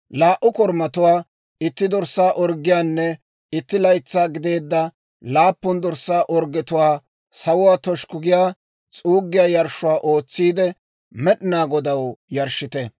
Laa"u korumatuwaa, itti dorssaa orggiyaanne itti laytsaa gideedda laappun dorssaa orggetuwaa sawuwaa toshukku giyaa s'uuggiyaa yarshshuwaa ootsiide, Med'inaa Godaw yarshshite.